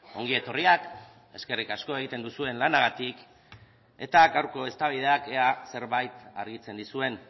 ongi etorriak eskerrik asko egiten duzuen lanagatik eta gaurko eztabaidak ea zerbait argitzen dizuen